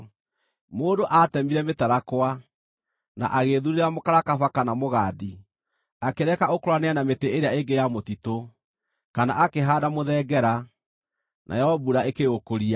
Mũndũ aatemire mĩtarakwa, na agĩĩthuurĩra mũkarakaba kana mũgandi. Akĩreka ũkũranĩre na mĩtĩ ĩrĩa ĩngĩ ya mũtitũ, kana akĩhaanda mũthengera, nayo mbura ĩkĩũkũria.